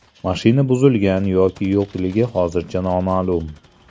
Mashina buzilgan yoki yo‘qligi hozircha noma’lum.